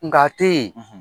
Nga te yen